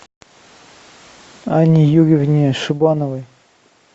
анне юрьевне шибановой